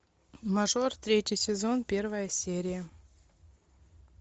мажор третий сезон первая серия